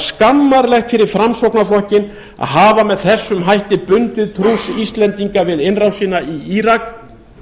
skammarlegt fyrir framsóknarflokkinn að hafa með þessum hætti bundið trúss íslendinga við innrásina í írak